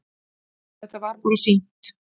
Þetta var bara fínt